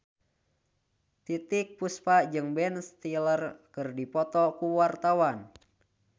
Titiek Puspa jeung Ben Stiller keur dipoto ku wartawan